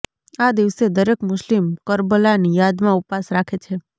આ દિવસે દરેક મુસ્લિમ કરબલાની યાદમાં ઉપવાસ રાખે છે